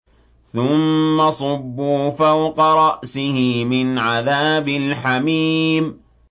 ثُمَّ صُبُّوا فَوْقَ رَأْسِهِ مِنْ عَذَابِ الْحَمِيمِ